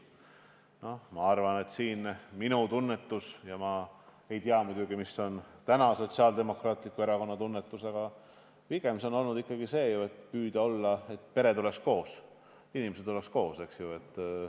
Ma arvan – ma muidugi ei tea, milline on täna Sotsiaaldemokraatliku Erakonna tunnetus –, et pigem püütakse ikkagi selle poole, et pered oleks koos ja inimesed oleks koos.